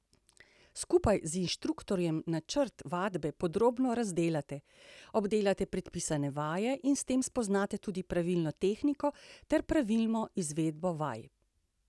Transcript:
Skupaj z inštruktorjem načrt vadbe podrobno razdelate, obdelate predpisane vaje in s tem spoznate tudi pravilno tehniko ter pravilno izvedbo vaj.